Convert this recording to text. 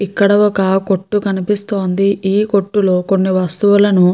ఇక్కడ ఒక కొట్టు కనిపిస్తోంది. ఈ కొట్టు లో కొన్నీ వస్తువులను --